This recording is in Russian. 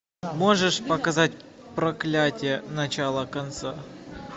можешь показать проклятие начало конца